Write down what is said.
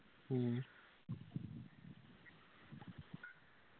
മ്മ്